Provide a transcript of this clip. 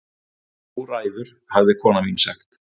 Þú ræður hafði kona mín sagt.